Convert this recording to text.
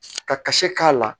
Ka ka se k'a la